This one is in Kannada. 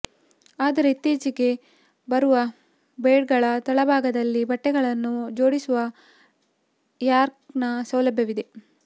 ಆದರೆ ಇತ್ತೀಚೆಗೆ ಬರುವ ಬೆಡ್ಗಳ ತಳಭಾಗದಲ್ಲಿ ಬಟ್ಟೆಗಳನ್ನು ಜೋಡಿಸುವ ರ್ಯಾಕ್ನ ಸೌಲಭ್ಯವಿದೆ